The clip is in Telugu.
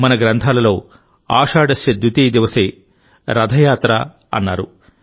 మన గ్రంథాలలో ఆషాఢస్య ద్వితీయ దివసే రథయాత్ర అన్నారు